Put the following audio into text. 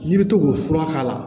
N'i bɛ to k'o fura k'a la